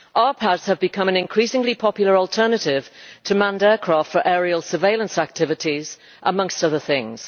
RPASs have become an increasingly popular alternative to manned aircraft for aerial surveillance activities, among other things.